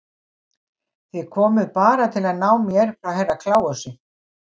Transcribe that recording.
Þið komuð bara til að ná mér frá Herra Kláusi.